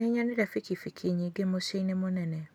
Nĩnyonire bikibiki nyingĩ mũciĩ-inĩ mũnene